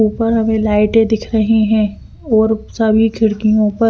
ऊपर हमें लाइटे दिख रही है और सभी खिड़कियों पर--